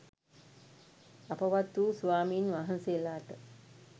අපවත් වූ ස්වමින්වහන්සේලාට